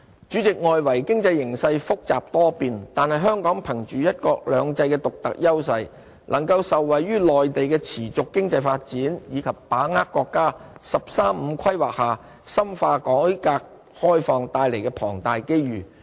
主席，外圍經濟形勢複雜多變，但香港憑着"一國兩制"的獨特優勢，能夠受惠於內地的持續經濟發展，以及把握國家"十三五"規劃下深化改革開放帶來的龐大機遇。